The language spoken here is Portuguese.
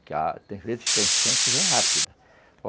tem vezes que a enchente vem rápida.